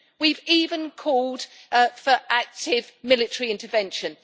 we've even called for active military intervention.